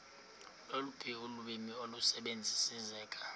loluphi ulwimi olusebenziseka